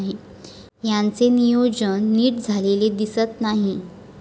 याचे नियोजन नीट झालेले दिसत नाही.